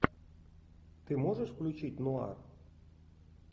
ты можешь включить нуар